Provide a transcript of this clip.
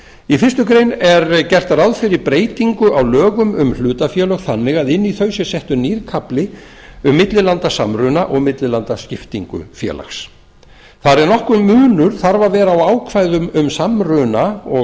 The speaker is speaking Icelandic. í fyrstu grein er gert ráð fyrir breytingu á lögum um hlutafélög þannig að inn í þau sé settur nýr kafli um millilandasamruna og millilandaskiptingu félags þar eð nokkur munur þarf að vera á ákvæðum um samruna og